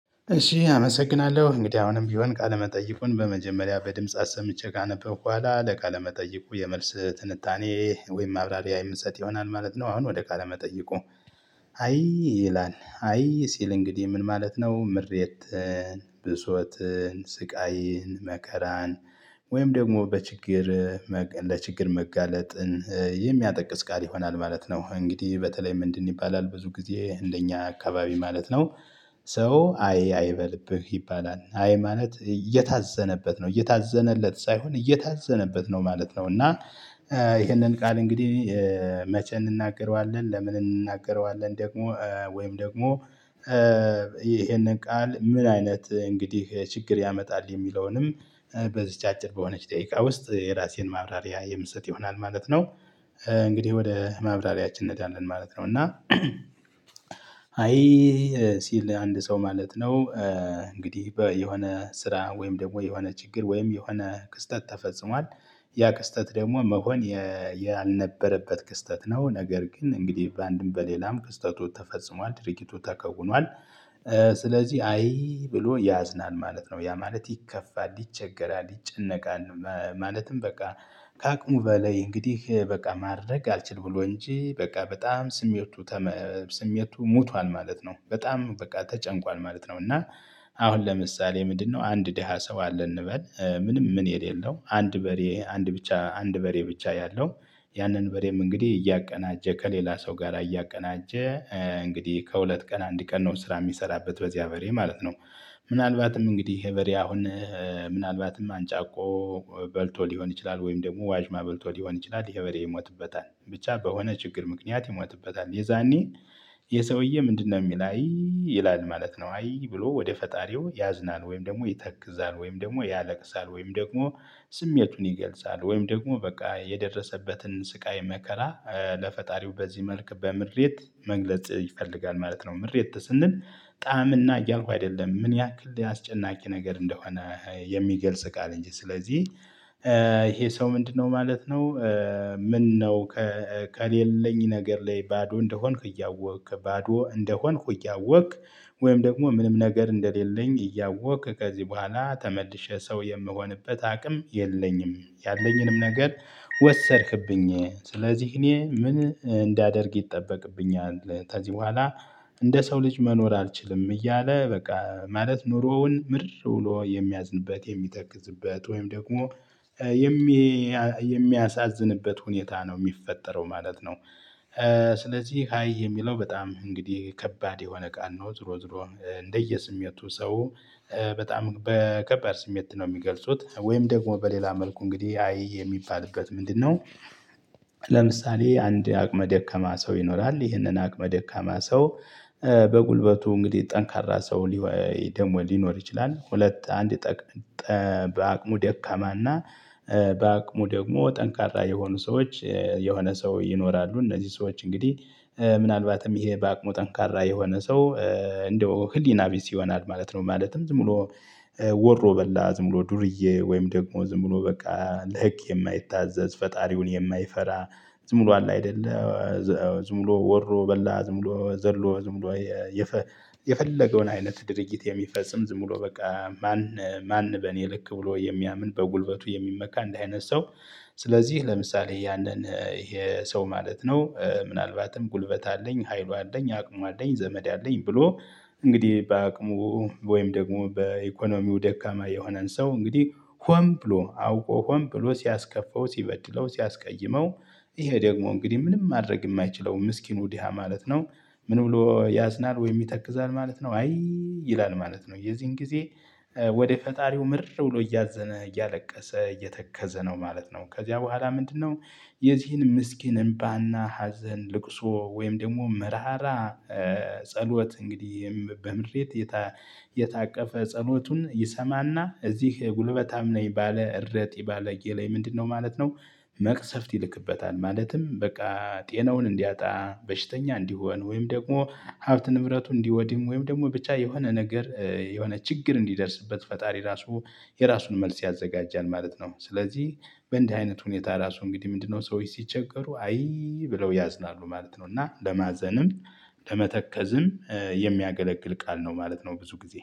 እሺ አመሰግናለሁ እንግዲህ አሁንም ቢሆን ቃለመጠይቁን በመጀመሪያ በድምጽ አሰምቼ ካነበብኩ በኋላ ለቃለመጠይቁ የመልስ ትንታኔ ወይም ማብራሪያ የምንሰጥ ይሆናል ማለት ነው። አሁን ወደ ካለመጠየቁ አይ ይላል አይ ሲል እንግዲህ ምን ማለት ነው? ምሬት ብሶት ስቃይን መካራን ወይም ደግሞ በችግር ለችግር መጋለጥን የሚጠቅስ ቃል ይሆናል ማለት ነው። እንግዲህ በተለይም ምንድን ይባላል? ብዙ ጊዜ እንደኛ አካባቢ ማለት ነው። ሰው አይ አይ በልብህ ይባላል አይ ማለት እየታዘነበት ነው እየታዘነለት ሳይሆን እየታዘነበት ነው ማለት ነው። እና ይህንን ቃል እንግዲህ መቼ እንናገረዋለን ለምን እንናገረዋለን? ደግሞ ወይም ደግሞ ይሄንን ቃል ምን አይነት እንግዲህ ችግር ያመጣል የሚለውንም? አጭር በሆነች ደቂቃ ውስጥ የራሴን ማብራሪያ የምሰጥ ይሆናል ማለት ነው። እንግዲህ ወደ ማብራሪያችን እንሄዳለን ማለት ነው። እና አይ ሲል አንድ ሰው ማለት ነው። እንግዲህ በ የሆነ ስራ ወይም ደግሞ የሆነ ችግር ወይም የሆነ ክስተት ተፈጽሟል ያ ክስተት ደግሞ መሆን የ ያልነበረበት ክስተት ነው። ነገር ግን እንግዲህ በአንድም በሌላም ክስተቱ ተፈጽሟል ድርጊቱ ተከውኗል። ስለዚህ አይ ብሎ ያዝናል ማለት ነው። ያ ማለት ይከፋል ይቸገራል ይጨነቃል ማለትም በቃ ከአቅሙ በላይ እንግዲህ በቃ ማድረግ አልችል ብሎ እንጂ በቃ በጣም ስሜቱ ተመቷል ስሜቱ ሞቷል ማለት ነው። በጣም በቃ ተጨንቋል ማለት ነው። እና አሁን ለምሳሌ ምንድነው? አንድ ደሃ ሰው አለ እንበል ምንም ምን የሌለው አንድ በሬ አንድ ብቻ አንድ በሬ ብቻ ያለው ያንን በሬም እንግዲህ እያቀናጀ ከሌላ ሰው ጋር እያቀናጀ እንግዲህ ከሁለት ቀን አንድ ቀን ነው ስራ የሚሰራበት በዚህ አበሬ ማለት ነው። ምናልባትም እንግዲህ በሬ አሁን ምናልባትም አንጫቆ በልቶ ሊሆን ይችላል ወይም ደግሞ ዋጅማ በልቶ ሊሆን ይችላል። ይሄ በሬ ይሞትበታል ብቻ በሆነ ችግር ምክንያት ይሞትበታል። የዛኔ ይህ ሰውዬ ምንድነው? የሚል አይ ይላል ማለት ነው አይ ብሎ ወደ ፈጣሪው ያዝናል ወይም ደግሞ ይተክዛል ወይም ደግሞ ያለቅሳል ወይም ደግሞ ስሜቱን ይገልጻል ወይም ደግሞ በቃ የደረሰበትን ስቃይ መከራ ለፈጣሪው በዚህ መልክ በምሬት መግለጽ ይፈልጋል ማለት ነው። ምሬት ስንል ጣዕምና እያልኩ አይደለም። ምን ያክል አስጨናቂ ነገር እንደሆነ የሚገልጽ ቃል። እንጂ ስለዚህ ይሄ ሰው ምንድነው? ማለት ነው። ምነው ከ ከሌለኝ ነገር ላይ ባዶ እንደሆንክ እያወቅክ ባዶ እንደሆንክ እያወቅክ ወይም ደግሞ ምንም ነገር እንደሌለኝ እያወቅክ ከዚህ በኋላ ተመልሼ ሰው የምሆንበት አቅም የለኝም። ያለኝንም ነገር ወሰድክብኝ ሥለዚህ እኔ ምን እንዳደርግ ይጠበቅብኛል? ከዚህ በኋላ እንደ ሰው ልጅ መኖር አልችልም። እያለ በቃ ማለት ኑሮውን ምርር ብሎ የሚያዝንበት የሚተከዝበት ወይም ደግሞ የሚ የሚያሳዝንበት ሁኔታ ነው የሚፈጠረው ማለት ነው። ስለዚህ ሃይ የሚለው በጣም እንግዲህ ከባድ የሆነ ቃል ነው። ዝሮ ዝሮ እንደየስሜቱ ሰው በጣም በከባድ ስሜት ነው የሚገልጹት ወይም ደግሞ በሌላ መልኩ እንግዲህ አይ የሚባልበት ምንድነው? ለምሳሌ አንድ አቅመ ደካማ ሰው ይኖራል። ይህንን አቅመ ደካማ ሰው በጉልበቱ እንግዲህ ጠንካራ ሰው ሊኖር ይችላል። ሁለት አንድ ጠ ጠ በአቅሙሞ ደካማና በአቅሙ ደግሞ ጠንካራ የሆኑ ሰዎች የሆነ ሰው ይኖራሉ እነዚህ ሰዎች እንግዲህ ምናልባትም ይሄ በአቅሙ ጠንካራ የሆነ ሰው እንደው ህሊና ቢስ ይሆናአል ማለት ነው። ማለትም ዝም ብሎ ወሮ በላ ዝም ብሎ ዱርዬ ወይም ደግሞ ዝም ብሎ በቃ ለህግ የማይታዘዝ ፈጣሪውን የማይፈራ። ዝም ብሎ አለ አይደለ ዝም ብሎ ወሮ በላ ዝም ብሎ ዘሎ ዝም ብሎ የፊ የፈለገውን አይነት ድርጊት የሚፈጽም ዝም ብሎ በቃ ማን ማን በእኔ ልክ ብሎ የሚያምን በጉልበቱ የሚመካ እንደዚህ አይነት ሰው። ስለዚህ ለምሳሌ ያንን ይሄ ሰው ማለት ነው ምናልባትም ጉልበት አለኝ ሀይሉ አለኝ አቅሙ አለኝ ዘመድ አለኝ ብሎ እንግዲህ በአቅሙ ወይም ደግሞ በኢኮኖሚው ደካማ የሆነን ሰው እንግዲህ ሆን ብሎ አውቆ ሆን ብሎ ሲያስከፈው ሲበድለው ሲያስቀይመው ይሄ ደግሞ እንግዲህ ምንም ማድረግ የማይችለው ምስኪኑ ድሃ ማለት ነው። ምን ብሎ ያዝናል ወይም ይተክዛል ማለት ነው። አይ ይላል ማለት ነው። የዚህን ጊዜ ወደ ፈጣሪው ምርር ብሎ እያዘነ እያለቀሰ እየተከዘ ነው ማለት ነው። ከዚያ በኋላ ምንድነው? የዚህን ምስኪን እምባ እና ሀዘን ልቅሶ ወይም ደግሞ መራራ ጸሎት እንግዲህ በምሬት የተ የታቀፈ ጸሎቱን ይሰማ እና እዚህ ጉልበታም ነኝ ባለ እረጢ ባለጌ ላይ ምንድነው ማለት ነው? መቅሰፍት ይልቅበታል ማለትም በቃ ጤናውን እንዲያጣ በሽተኛ እንዲሆን ወይም ደግሞ ሀብት ንብረቱን እንዲወድም ወይም ደግሞ ብቻ የሆነ ነገር የሆነ ችግር እንዲደርስበት ፈጣሪ ራሱ የራሱን መልስ ያዘጋጃል ማለት ነው። ስለዚህ በእንዲህ አይነት ሁኔታ ራሱ እንግዲህ ምንድነው ሰዎች ሲቸገሩ አይ ብለው ያዝናሉ ማለት ነው። እና ለማዘንም ለመተከዝም የሚያገለግል ቃል ነው ማለት ነው። ብዙ ጊዜ